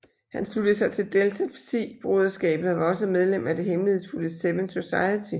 Han sluttede sig til Delta Psi broderskabet og var også medlem af det hemmelighedsfulde Seven Society